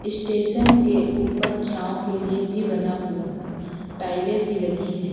Station के ऊपर छांव के लिए भी बना हुआ है। टाइलें भी लगी हैं।